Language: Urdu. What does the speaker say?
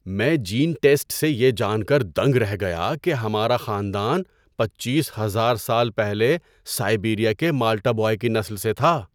‏میں جین ٹیسٹ سے یہ جان کر دنگ رہ گیا کہ ہمارا خاندان پچیس ہزار سال پہلے سائبیریا کے مالٹا بوائے کی نسل سے تھا۔